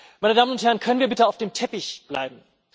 Meine Damen und Herren, können wir bitte auf dem Teppich bleiben!